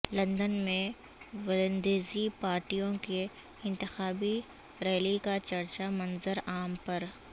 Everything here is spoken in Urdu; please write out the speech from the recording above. لندن میں ولندیزی پارٹیوں کی انتخابی ریلی کا چرچا منظر عام پر